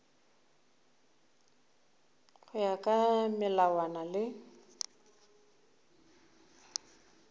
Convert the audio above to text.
go ya ka melawana le